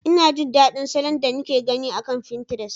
Ina jin daɗin salon da nake gani akan finterest.